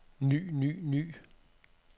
ny ny ny